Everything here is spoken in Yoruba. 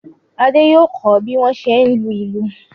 Adé yóò kọ́ bí wọ́n ṣe ń lu ìlù.